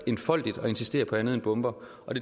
enfoldigt at insistere på andet end bomber